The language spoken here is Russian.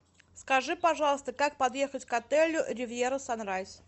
скажи пожалуйста как подъехать к отелю ривьера санрайз